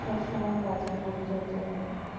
সব সময়ে গাছের পরিচর্যা করি